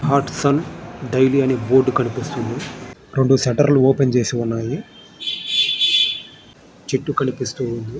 Hatsun dairy board కనిపిస్తున్నది. రెండు షెటర్లు ఓపెన్ చేసి ఉన్నాయి.చెట్టు కనిపిస్తున్నది.